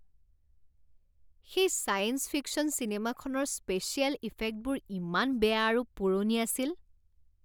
সেই science fiction চিনেমাখনৰ special ইফেক্টবোৰ ইমান বেয়া আৰু পুৰণি আছিল।